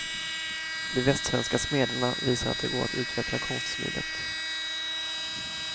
De västsvenska smederna visar att det går att utveckla konstsmidet.